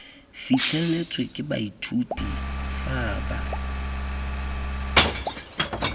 fitlheletswe ke baithuti fa ba